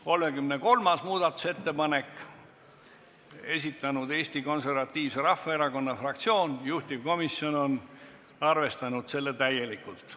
33. muudatusettepaneku on esitanud Eesti Konservatiivse Rahvaerakonna fraktsioon, juhtivkomisjon on arvestanud seda täielikult.